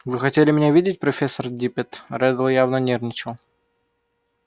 вы хотели меня видеть профессор диппет реддл явно нервничал